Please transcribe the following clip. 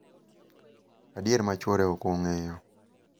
adier ma chwore ok ong�eyo.